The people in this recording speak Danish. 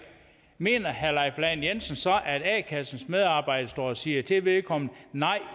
mener herre leif lahn jensen så at a kassens medarbejder står og siger til vedkommende nej